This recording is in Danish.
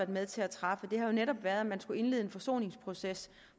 med til at træffe har jo netop været at man skulle indlede en forsoningsproces